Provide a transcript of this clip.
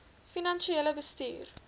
finansiële bestuur